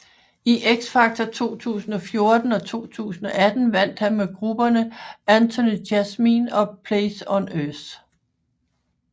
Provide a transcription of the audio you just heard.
I X Factor 2014 og 2018 vandt han med grupperne Anthony Jasmin og Place on Earth